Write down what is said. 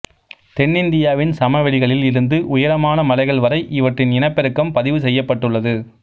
தென்னிந்தியாவின் சமவெளிகளில் இருந்து உயரமான மலைகள் வரை இவற்றின் இனப்பெருக்கம் பதிவு செய்யப்பட்டுள்ளது